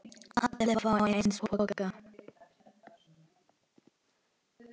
Allir fá eins poka.